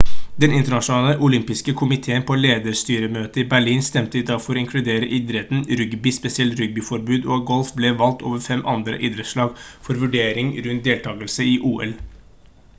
den internasjonale olympiske komitéen på lederstyremøte i berlin stemte i dag for å inkludere idretten rugby spesielt rugbyforbund og golf ble valgt over fem andre idrettslag for vurdering rundt deltagelse i ol